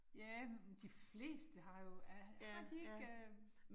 Ja, men de fleste har jo. Er har de ikke øh